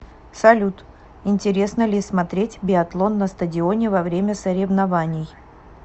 салют интересно ли смотреть биатлон на стадионе во время соревнований